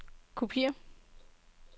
kopiér